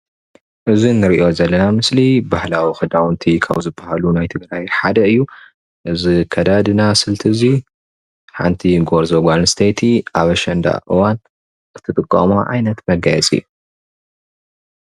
እዚ እንሪኦ ዘለና ምስሊ ባህላዊ ክዳውንቲ ካብ ዝበሃሉ ናይ ትግራይ ሓደ እዩ እዚ ናይ አከዳድና ስልቲ እዚ ሓንቲ ጎርዞ ጋል አንስተይቲ አብ አሽንዳ እዋነ እትጥቀሞ ዓይነት መጋየፂ እዩ፡፡